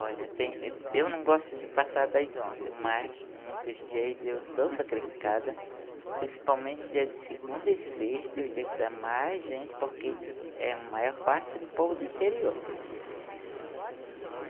Olha, tem eu não gosto de passar das onze, mas muitos dias eu sou sacrificada, principalmente dias de segunda e sexta, o dia que dá mais gente, porque é a maior parte do povo do interior.